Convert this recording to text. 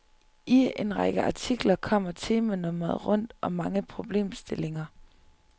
I en række artikler kommer temanummeret rundt om mange problemstillinger.